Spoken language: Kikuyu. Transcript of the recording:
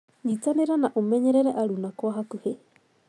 Nyitanira na ũmenyerere aruna kwa hakũhĩ.